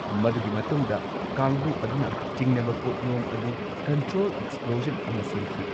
ꯃꯗꯨꯒꯤ ꯃꯇꯨꯡꯗ ꯀꯥꯡꯕꯨ ꯑꯗꯨꯅ ꯆꯤꯡꯅꯕ ꯄꯣꯠꯌꯣꯝ ꯑꯗꯨ ꯀꯟꯇ꯭ꯔꯣꯜ ꯑꯦꯛꯁꯄ꯭ꯂꯣꯖꯟ ꯑꯃ ꯁꯦꯝꯈꯤ꯫